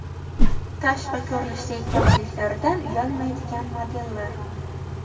Tashqi ko‘rinishidagi kamchiliklaridan uyalmaydigan modellar.